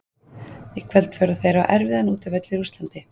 Í kvöld fóru þeir á erfiðan útivöll í Rússlandi.